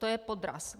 To je podraz.